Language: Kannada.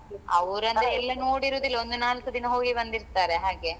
ಅವರಂದ್ರೆ ಎಲ್ಲ ನೋಡಿರೋದು ಇಲ್ಲಾ ಒಂದು ನಾಲ್ಕು ದಿನ ಹೋಗಿ ಬಂದಿರ್ತಾರೆ ಹಾಗೆ.